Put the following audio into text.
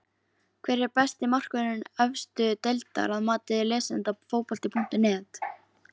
Hver er besti markvörður efstu deildar að mati lesenda Fótbolti.net?